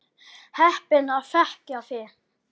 Heppin að þekkja þig.